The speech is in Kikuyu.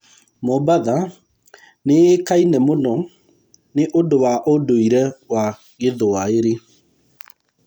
Mombasa nĩ ĩĩkaine mũno nĩ ũndũ wa ũndũire wa Gĩthwaĩri.